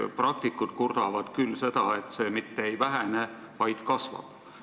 Praktikud kurdavad küll seda, et see koormus mitte ei vähene, vaid kasvab.